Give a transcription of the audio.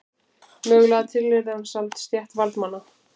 Mögulega tilheyrði hann samt stétt varðmanna.